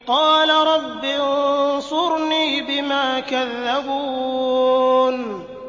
قَالَ رَبِّ انصُرْنِي بِمَا كَذَّبُونِ